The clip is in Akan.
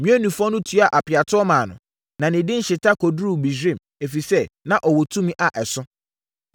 Meunifoɔ no tuaa apeatoɔ maa no, na ne din hyeta kɔduruu Misraim, ɛfiri sɛ, na ɔwɔ tumi a ɛso.